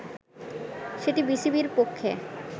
সেটি বিসিবির পক্ষে